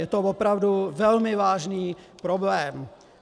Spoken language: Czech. Je to opravdu velmi vážný problém.